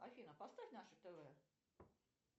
афина поставь наше тв